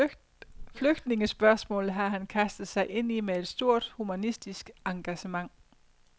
Flygtningespørgsmålet har han kastet sig ind i med et stort humanistisk engagement.